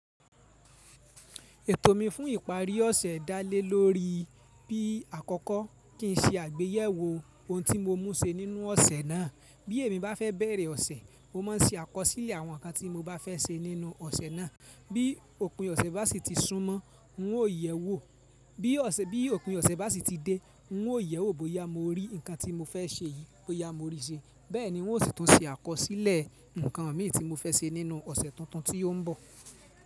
Ètò mi fún ìparí ọ̀sẹ̀ dá lé lórí bí àkọ́kọ́ kí n ṣe àgbéyẹ̀wò ohun tí mo mú ṣe nínú ọ̀sẹ̀ náà. Bí èmi bá fẹ́ bẹ̀rẹ̀ ọ̀sẹ̀, mo má ń ṣe àkọsílẹ̀ àwọn nǹkan tí mo bá fẹ́ ṣe nínú ọ̀sẹ̀ náà. Bí òpin ọ̀sẹ̀ bá sì ti súnmọ́, n ó yẹ̀wò. Bí òpin ọ̀sẹ̀ bá sì ti dé, n ó yẹ̀wò bóyá mo rí ǹkan tí mo fẹ́ ṣe yìí, bóyá mo rí i ṣe. Bẹ́ẹ̀ ni n ó sì tún ṣe àkọsílẹ̀ ǹkan mí tí mo fẹ́ ṣe nínú ọ̀sẹ̀ tuntun tí ó ń bọ̀.